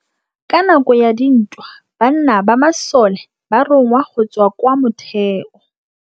Ka nakô ya dintwa banna ba masole ba rongwa go tswa kwa mothêô.